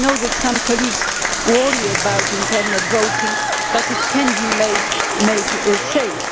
I know that some colleagues worry about internet voting, but it can be made safe.